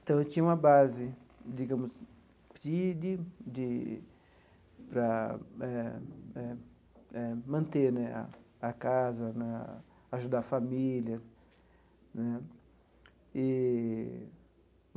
Então, eu tinha uma base, digamos de de de, para eh eh eh manter né a a casa né, ajudar a família né eee.